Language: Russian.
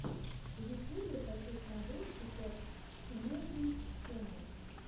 в ютюбе хочу смотреть сейчас эмэйзин ченнал